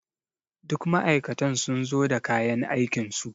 Duk ma'aikatan sun zo da kayan aikinsu.